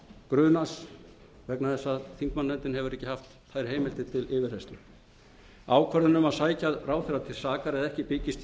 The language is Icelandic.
grunaðs vegna þess að þingmannanefndin hefur ekki haft þær heimildir til yfirheyrslu ákvörðun um að sækja ráðherra til sakar eða ekki byggist